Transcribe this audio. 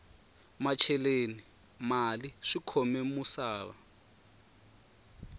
macheleni mali swikhome musava